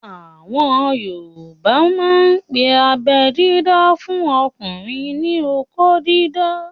Àwọn yoòbá máà ń pe abẹ́ dídá fún ọmọkùnrin ní "okó dídá"